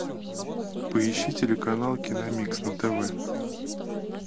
поищи телеканал киномикс на тв